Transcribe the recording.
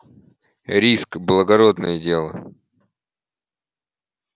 риск благородное дело